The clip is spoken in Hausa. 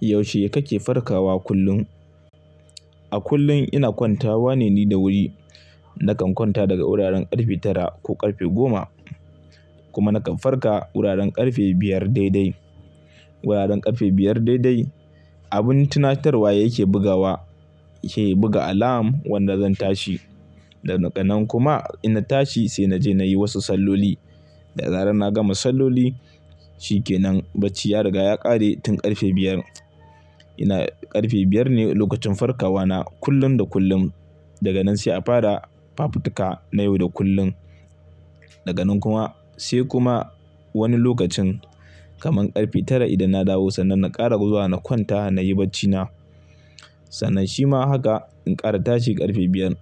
Yaushe kake farkawa kullum? A kullum ina kwantawa ne ni da wuri. Nakan kwanta daga wuraren ƙarfe tara ko ƙarfe goma. Kuma nakan farka wuraren ƙarfe biyar daidai. Wuraren ƙarfe biyar daidai. Abin tunatarwa yake bugawa, yake buga alam wanda zan tashi. Daga nan kuma inna tashi, sai naje nayi wasu salloli. Da zaren na gama salloli, shi ke nan bacci ya riga ya ƙare tun ƙarfe biyar. Ina, ƙarfe biyar ne lokacin farkawana kullum da kullum. Daga nan sai a fara fafutuka na yau da kullum. Daga nan kuma sai kuma wani lokacin, kaman ƙarfe tara idan na dawo, sannan na ƙara zuwa na kwanta nayi bacci na. Sannan shi ma haka in ƙara tashi ƙarfe biyar.